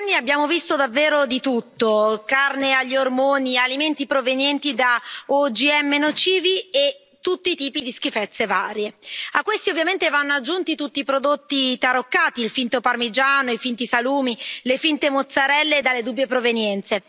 Signor Presidente, onorevoli colleghi, in questi anni abbiamo visto davvero di tutto carne agli ormoni, alimenti provenienti da OGM nocivi e tutti i tipi di schifezze varie. A questi, ovviamente, vanno aggiunti tutti i prodotti taroccati il finto parmigiano, i finti salumi, le finte mozzarelle dalle dubbie provenienze.